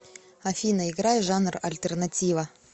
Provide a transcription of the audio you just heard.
афина играй жанр альтернатива